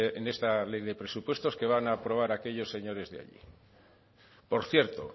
en esta ley de presupuestos que van a aprobar aquellos señores de allí por cierto